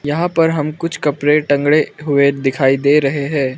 यहां पर हम कुछ कपड़े तांगडे हुए दिखाई दे रहे हैं।